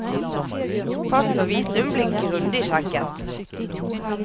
Pass og visum blir grundig sjekket.